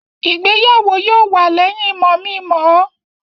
Ìgbéyàwó yóò wà lẹ́yìn mọ̀-mi-mọ̀-mọ́